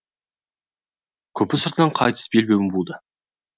күпі сыртынан қайтыс белбеуін буды